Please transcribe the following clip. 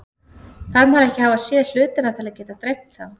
Þarf maður ekki að hafa séð hlutina til að geta dreymt þá?